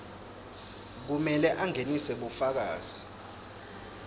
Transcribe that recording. kumele angenise bufakazi